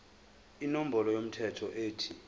inombolo yomthelo ethi